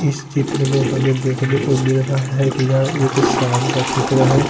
इस चित्र में हमे देखने को मिल रहा है की यहाँ एक शाम का चित्र है।